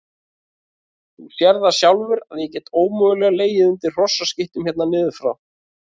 Þú sérð það sjálfur að ég get ómögulega legið undir hrossaskítnum hérna niður frá.